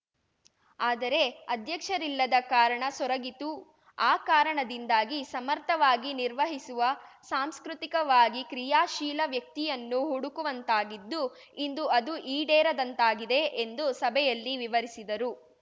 ಆದರೆ ಅಧ್ಯಕ್ಷರಿಲ್ಲದ ಕಾರಣ ಸೊರಗಿತು ಆ ಕಾರಣದಿಂದಾಗಿ ಸಮರ್ಥವಾಗಿ ನಿರ್ವಹಿಸುವ ಸಾಂಸ್ಕೃತಿಕವಾಗಿ ಕ್ರೀಯಾಶೀಲ ವ್ಯಕ್ತಿಯನ್ನು ಹುಡುಕುವಂತಾಗಿದ್ದು ಇಂದು ಅದು ಈಡೇರದಂತಾಗಿದೆ ಎಂದು ಸಭೆಯಲ್ಲಿ ವಿವರಿಸಿದರು